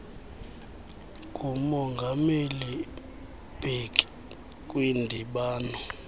ngumongameli mbeki kwindibano